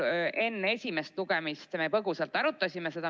Enne esimest lugemist põgusalt arutasime.